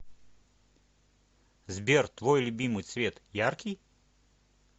сбер твой любимый цвет яркий